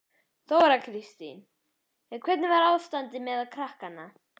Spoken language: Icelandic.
Þóra Kristín: En hvernig var ástandið meðal krakkanna?